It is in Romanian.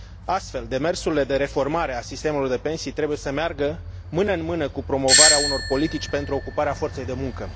Astfel, demersurile de reformare a sistemului de pensii trebuie să meargă mână în mână cu promovarea unor politici pentru ocuparea forței de muncă.